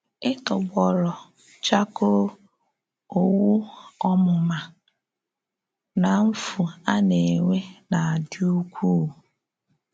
Ịtọgbọrọ chakoo, òwù ọmụma, na mfu a na-enwe na-adị ukwuu.